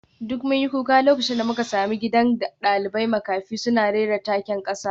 Duk mun yi kuka lokacin da muka sami gidan dalibai makafi suna rera taken kasa